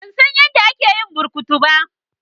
Ban san yadda ake yin burkutu ba.